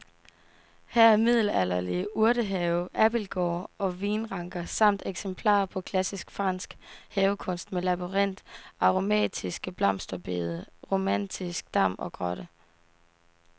Her er middelalderlig urtehave, abildgård og vinranker samt eksempler på klassisk fransk havekunst med labyrint, aromatiske blomsterbede, romantisk dam og grotte.